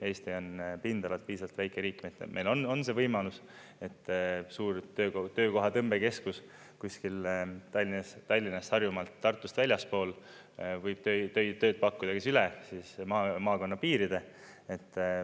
Eesti on pindalalt piisavalt väike riik, meil on see võimalus, et suur töökoha tõmbekeskus kuskil Tallinnast, Harjumaalt, Tartust väljaspool võib tööd pakkuda ka üle maakonna piiride.